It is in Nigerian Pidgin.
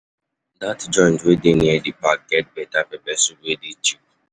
Dat joint wey dey near di park get beta pepper soup wey dey cheap.